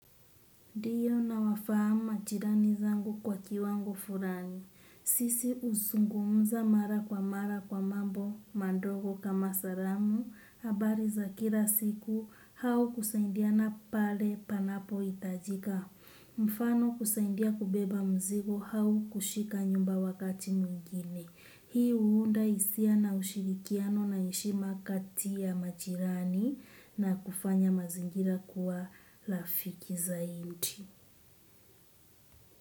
Ndiyo nawafahamu machirani zangu kwa kiwango furani. Sisi husungumza mara kwa mara kwa mambo mandogo kama salamu abari za kila siku hau kusaindia na pale panapoitajika. Mfano kusaindia kubeba mzigo hau kushika nyumba wakati mwingine. Hii huunda hisia na ushirikiano na heshima kati ya machirani na kufanya mazingira kuwa lafiki zaiti.